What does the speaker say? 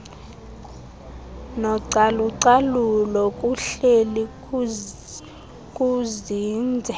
nocalucalulo kuhleli kuzinze